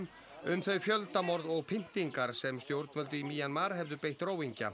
um þau fjöldamorð og pyntingar sem stjórnvöld í Mjanmar hefðu beitt